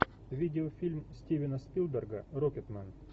видеофильм стивена спилберга рокетмен